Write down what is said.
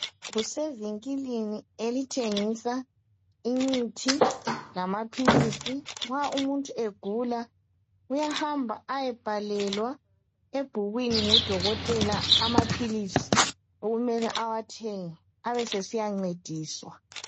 Kusevinkilini elithengisa imithi lamaphilisi nxa umuntu egula uyahamba ayebhalelwa ebhukwini ngudokotela amaphilisi okumele awathenge abe esesiyancediswa.